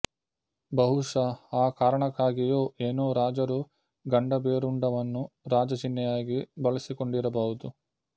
ಬಹುಶ ಆ ಕಾರಣಕ್ಕಾಗಿಯೋ ಏನೋ ರಾಜರು ಗಂಡಭೇರುಂಡವನ್ನು ರಾಜ ಚಿಹ್ನೆಯಾಗಿ ಬಳಸಿಕೊಂಡಿರಬಹುದು